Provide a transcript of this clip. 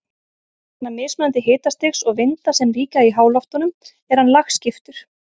Vegna mismunandi hitastigs og vinda sem ríkja í háloftunum er hann lagskiptur.